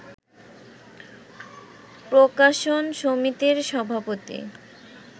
প্রকাশন সমিতির সভাপতি